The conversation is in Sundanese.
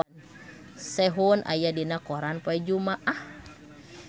Sehun aya dina koran poe Jumaah